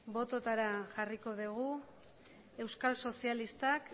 bototara jarriko dugu euskal sozialistak